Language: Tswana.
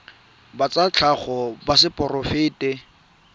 ba tsa tlhago ba seporofe